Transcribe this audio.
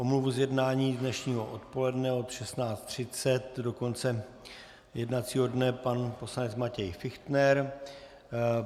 Omluva z jednání dnešního odpoledne od 16.30 do konce jednacího dne - pan poslanec Matěj Fichtner.